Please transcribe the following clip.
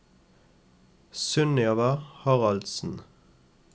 Sunniva Haraldsen